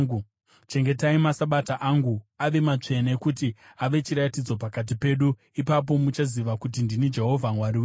Chengetai maSabata angu ave matsvene, kuti ave chiratidzo pakati pedu. Ipapo muchaziva kuti ndini Jehovha Mwari wenyu.”